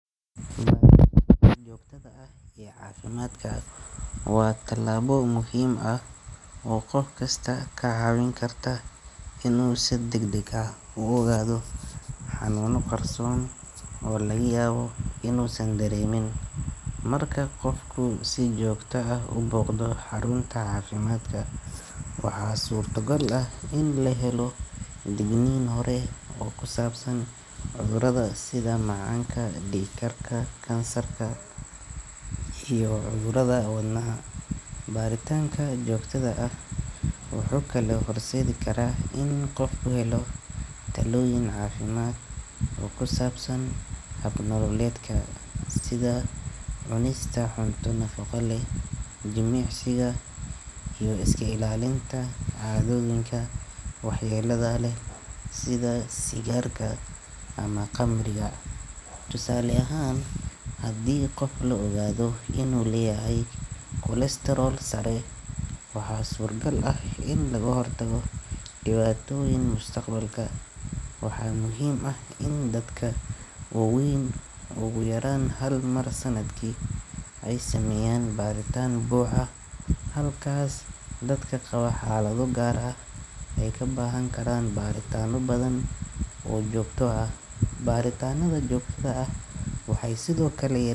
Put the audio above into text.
Baritaanka joogtada ah ee caafimaadka waa tallaabo muhiim ah oo qof kasta ka caawin karta inuu si degdeg ah u ogaado xanuuno qarsoon oo laga yaabo inuusan dareemin. Marka qofku si joogto ah u booqdo xarunta caafimaadka, waxaa suurtogal ah in la helo digniin hore oo ku saabsan cudurrada sida macaanka, dhiig karka, kansarka iyo cudurrada wadnaha. Baritaanka joogtada ah wuxuu kaloo horseedi karaa in qofku helo talooyin caafimaad oo ku saabsan hab-nololeedka, sida cunista cunto nafaqo leh, jimicsiga, iyo iska ilaalinta caadooyinka waxyeelada leh sida sigaarka ama khamriga. Tusaale ahaan, haddii qof la ogaado inuu leeyahay kolestarool sare, waxaa suuragal ah in laga hortago dhibaatooyin mustaqbalka. Waxaa muhiim ah in dadka waaweyn ugu yaraan hal mar sanadkii ay sameeyaan baaritaan buuxa, halka dadka qaba xaalado gaar ah ay u baahan karaan baritaano badan oo joogto ah. Baritaannada joogtada ah waxay sidoo kale yaree.